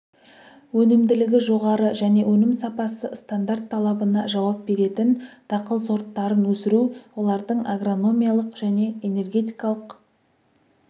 өнімділігі жоғары және өнім сапасы стандарт талабына жауап беретін дақыл сорттарын өсіру олардың агрономиялық және энергетикалық